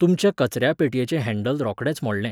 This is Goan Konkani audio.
तुमच्या कचऱ्या पेटयेचें हँडल रोकडेंच मोडलें